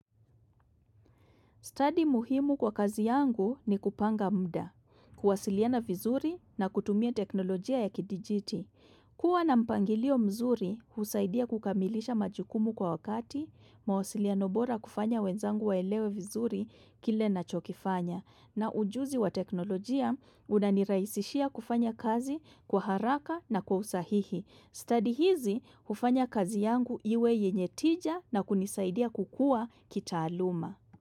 Study muhimu kwa kazi yangu ni kupanga muda, kuwasiliana vizuri na kutumia teknolojia ya kidijiti. Kuwa na mpangilio mzuri husaidia kukamilisha majukumu kwa wakati, mawasiliano bora kufanya wenzangu waelewe vizuri kile nachokifanya, na ujuzi wa teknolojia unanirahisishia kufanya kazi kwa haraka na kwa usahihi. Study hizi hufanya kazi yangu iwe yenye tija na kunisaidia kukua kitaaluma.